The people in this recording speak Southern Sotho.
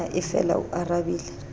na e fela o arabile